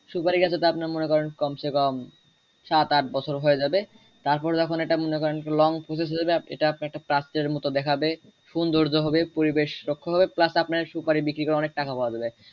সুপারি গাছে যদি আপনার মনে করেন কমস কম সাত আট বছর হয়ে যাবে তারপর যখন এটা মনে করেন long position হয়ে যাবে এটা একটা প্রাচ্যের মতো দেখাবে সৌন্দৌয্য হবে পরিবেশ রক্ষ হবে plus আপনার সুপারি বিক্রি করে অনেক টাকা পাওয়া যাবে।